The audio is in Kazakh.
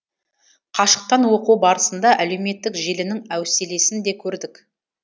қашықтан оқу барысында әлеуметтік желінің әуселесін де көрдік